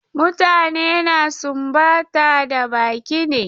Mutane na sumbata da baki ne.